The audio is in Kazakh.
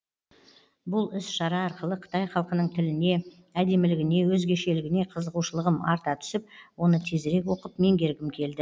бұл іс шара арқылы қытай халқының тіліне әдемілігіне өзгешілігіне қызығушылығым арта түсіп оны тезірек оқып меңгергім келді